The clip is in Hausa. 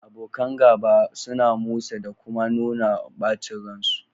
Abokan gaba suna musu dakuma nuna bacin ran su